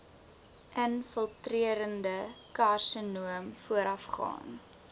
infiltrerende karsinoom voorafgaan